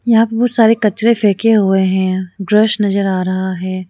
यहां पर बहुत सारे कचरे फेक हुए हैं ब्रश नजर आ रहा है।